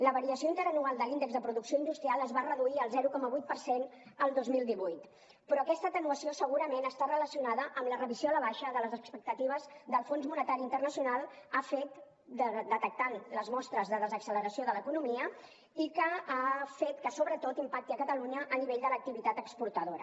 la variació interanual de l’índex de producció industrial es va reduir el zero coma vuit per cent el dos mil divuit però aquesta atenuació segurament està relacionada amb la revisió a la baixa de les expectatives que el fons monetari internacional ha fet en detectar les mostres de desacceleració de l’economia i que ha fet que sobretot impacti a catalunya a nivell de l’activitat exportadora